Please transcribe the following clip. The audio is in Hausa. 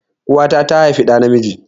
Uwa ta tà haifi dà na miji